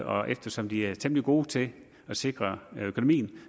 og eftersom de er temmelig gode til at sikre økonomien